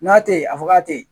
N'a te yen a fɔ k'a te yen